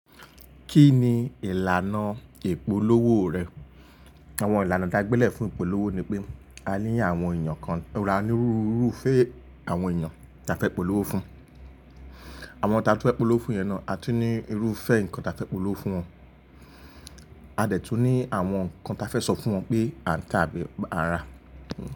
Kí ni ìlànà ìpolówó rẹ̀? Àwọn ìlànà taa gbélé fún ìpolówó ni pé a ní àwọn èèyàn kan, a ní onirúru irúfẹ́ àwọn èèyàn táa fẹ́ polówó fún. Àwọn táa fẹ́ polówó fun yẹn náà, a tún ní irúfẹ́ nǹkan táa fẹ́ polówó fún wọn. A dẹ̀ tún ní àwọn nǹkan táa fẹ́ sọ fún wọn pé àǹtà bí a á rà.